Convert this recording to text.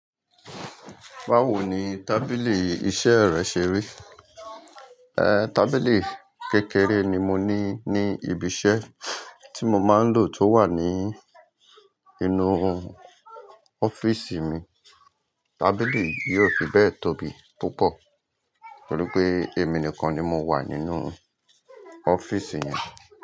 Báwo ni tábìlì iṣẹ́ rẹ ṣe rí? Ẹ̀, tábìlì kékeré ni mo ní ní ibi iṣẹ́ tí mo máa ń lò tó wà ní inú ọ́fíìsì mi. Tábìlì yóò fi bẹ́ẹ̀ tóbi púpọ̀ tori pé èmi nìkan ni mo wà nínú ọ́fíìsì yẹn.